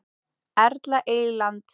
Erla Eyland.